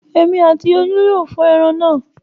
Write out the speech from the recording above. Èmi àti Olú yóò fọ ẹran náà.